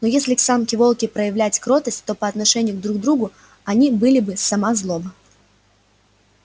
но если к самке волки проявлять кротость то по отношению друг к другу они были бы сама злоба